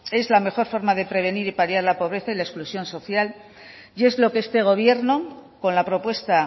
es la mejor forma de prevenir y paliar la pobreza y la exclusión social y es lo que este gobierno con la propuesta